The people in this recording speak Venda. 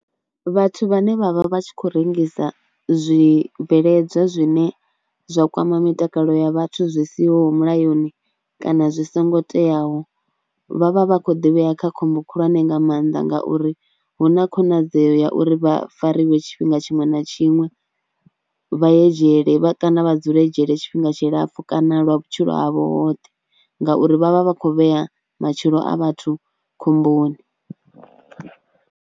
Vhathu vhane vha vha vha tshi khou rengisa zwibveledzwa zwine zwa kwama mitakalo ya vhathu zwi siho mulayoni kana zwi songo teaho vha vha vha khou ḓivhea kha khombo khulwane nga maanḓa ngauri hu na khonadzeo ya uri vha fariwe tshifhinga tshiṅwe na tshiṅwe, vha ye dzhele vha kana vha dzule dzhele tshifhinga tshilapfhu kana lwa vhutshilo ha vhoṱhe ngauri vha vha vha khou vhea matshilo a vhathu khomboni.